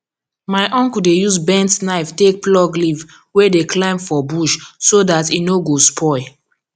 my uncle dey use bent knife take pluck leaf wey dey climb for bush so dat e nor go spoil